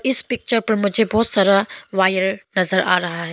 इस पिक्चर पर मुझे बहुत सारा वायर नजर आ रहा है।